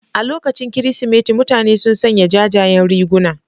A lokacin Kirsimeti mutane sun sanya jajayen riguna.